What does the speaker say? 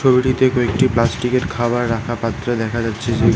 ঝুড়িতে কয়েকটি প্লাস্টিকের খাবার রাখা পাত্র দেখা যাচ্ছে যে--